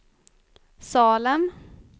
Salem